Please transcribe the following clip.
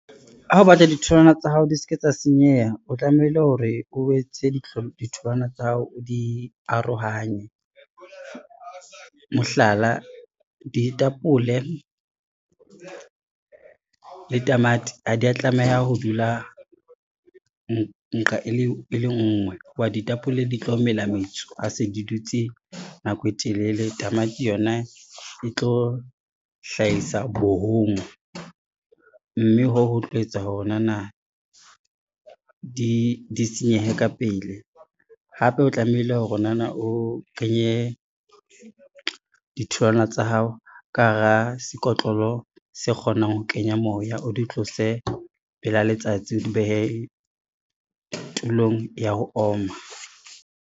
Ha o batla ditholwana tsa hao di se ke tsa senyeha, o tlamehile hore o etse ditholwana tsa hao o di arohanye. Mohlala, ditapole le tamati ha di a tlameha ho dula nqa e le ngwe ho ba ditapole di tlo mela metso a se di dutse nako e telele, tamati yona e tlo hlahisa bohongwe, mme hoo ho tlo etsa hore nana di senyehe ka pele. Hape o tlamehile hore nana o kenye ditholwana tsa hao ka hara sekotlolo se kgonang ho kenya moya, o di tlose pela letsatsi, o di behe tulong ya ho oma.